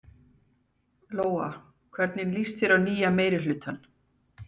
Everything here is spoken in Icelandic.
Lóa: Hvernig líst þér á nýja meirihlutann?